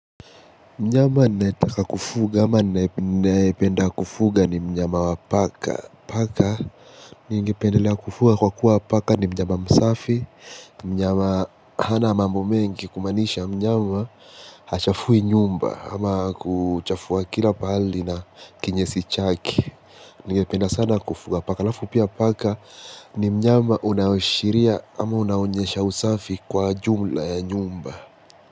Mnyama ninayetaka kufuga ama ninayependa kufuga ni mnyama wa paka. Paka ningependelea kufunga kwa sababu paka ni mnyama safi. Mnyama hana mambo mengi kumanisha mnyama hachafui nyumba. Ama kuchafua kila pali na kinyesi chaki. Nyingependelea sana kufuga paka. Lafu pia paka ni mnyama unashiria ama unaonyesha usafi kwa jumla ya nyumba.